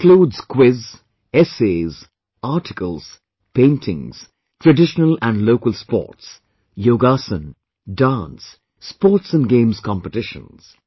This includes quiz, essays, articles, paintings, traditional and local sports, yogasana, dance, sports and games competitions